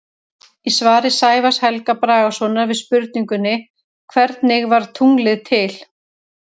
Í svari Sævars Helga Bragasonar við spurningunni Hvernig varð tunglið til?